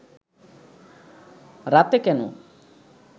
রাতে কেন